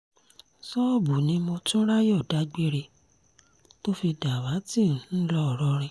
ṣọ́ọ̀bù ni motunráyọ̀ dágbére tó fi dàwátì ńlọrọìn